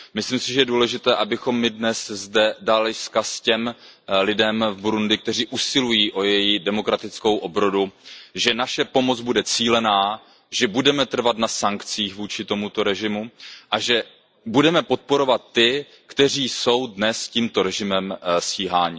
Myslím si, že je důležité, abychom my dnes zde dali vzkaz těm lidem v Burundi, kteří usilují o její demokratickou obrodu, že naše pomoc bude cílená, že budeme trvat na sankcích vůči tomuto režimu a že budeme podporovat ty, kteří jsou dnes tímto režimem stíháni.